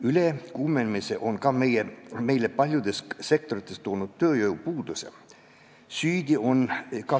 Ülekuumenemine on meile paljudes sektorites ka tööjõupuuduse toonud.